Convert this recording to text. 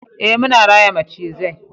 eh muna raya macizai